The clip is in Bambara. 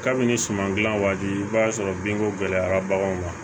Kabini suman dilan waati i b'a sɔrɔ binko gɛlɛyara baganw ma